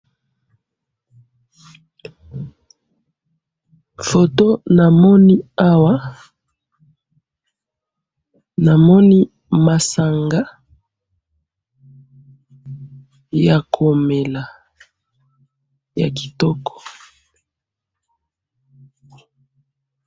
Foto namoni awa, namoni masanga yakomela, yakitoko.